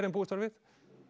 en búist var við